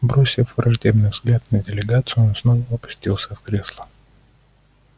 бросив враждебный взгляд на делегацию он снова опустился в кресло